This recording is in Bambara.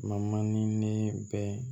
Ma ni ne bɛ